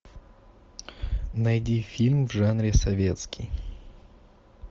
найди фильм в жанре советский